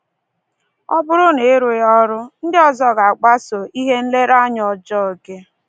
Ọ bụrụ na ị rụghị ọrụ, ndị ọzọ ga-agbaso ihe nlereanya ọjọọ gị!